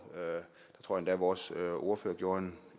jeg tror endda at vores ordfører gjorde